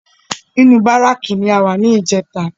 Inú bárákì ni a wà ní ìjẹta